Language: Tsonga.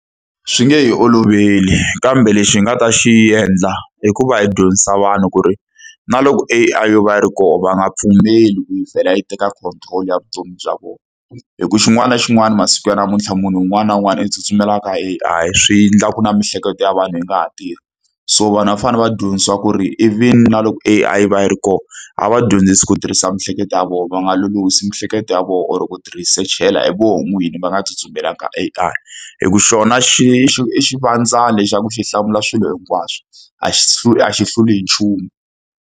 Swi nge hi oloveli kambe lexi hi nga ta xi endla i ku va hi dyondzisa vanhu ku ri, na loko A_I yo va yi ri kona va nga pfumeli ku yi vhela yi teka control ya vutomi bya vona. Hikuva xin'wana na xin'wana masiku ya namuntlha munhu un'wana na un'wana u tsutsumela ka A_I, swi endla ku na miehleketo ya vanhu yi nga ha tirhi. So vanhu va fanele va dyondzisiwa ku ri even na loko A_I va yi ri kona, a va dyondzise ku tirhisa miehleketo ya vona. Va nga lolohisi miehleketo ya vona or ku ti-research-ela hi vona n'wini, va nga tsutsumelanga eka A_I. Hikuva xona xi i i xivandzani xa ku xi hlamula swilo hinkwaswo, a a xi hluli hi nchumu.